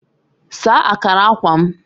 Saa akara akwa m